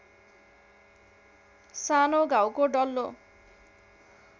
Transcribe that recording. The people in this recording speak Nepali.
सानो घाउको डल्लो